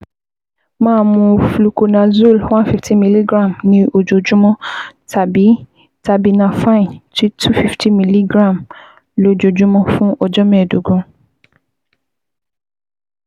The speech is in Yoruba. Máa mu fluconazole one fifty milligram ní ojoojúmọ́ tàbí terbinafine two fifty milligram lójoojúmọ́ fún ọjọ́ mẹ́ẹ̀ẹ́dógún